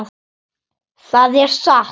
Það er satt!